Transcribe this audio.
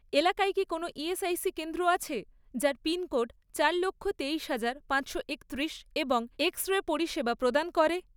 এলাকায় কি কোনও ইএসআইসি কেন্দ্র আছে, যার পিনকোড চার লক্ষ, তেইশ হাজার, পাঁচশো একত্রিশ এবং এক্স রে পরিষেবা প্রদান করে?